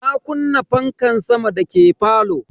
Na kunna fankan sama dake falo.